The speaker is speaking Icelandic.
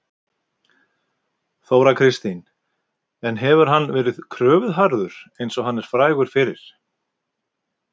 Þóra Kristín: En hefur hann verið kröfuharður eins og hann er frægur fyrir?